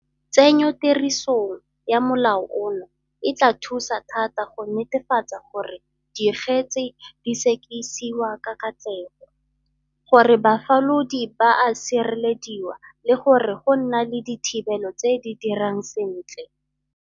Tsenyotirisong ya molao ono e tla thusa thata go netefatsa gore dikgetse di sekisiwa ka katlego, gore bafalodi ba a sirelediwa le gore go nna le dithibelo tse di dirang sentle.